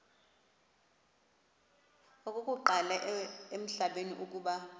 okokuqala emhlabeni uba